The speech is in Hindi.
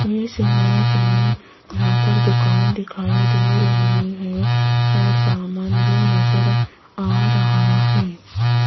इस इमेज में यहां पर दुकान दिखाई दे रही हैं और सामान भी नजर आ रहा है।